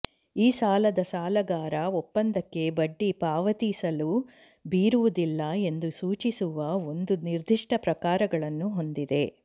ಈ ಸಾಲದ ಸಾಲಗಾರ ಒಪ್ಪಂದಕ್ಕೆ ಬಡ್ಡಿ ಪಾವತಿಸಲು ಬೀರುವುದಿಲ್ಲ ಎಂದು ಸೂಚಿಸುವ ಒಂದು ನಿರ್ದಿಷ್ಟ ಪ್ರಕಾರಗಳನ್ನು ಹೊಂದಿದೆ